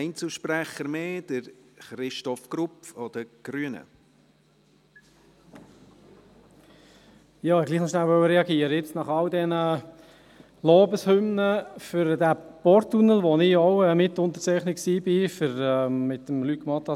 Ich wollte hier doch noch reagieren, nach all den Lobeshymnen für den Porttunnel, wofür ich auch Mitunterzeichner zusammen mit Luc Mentha war.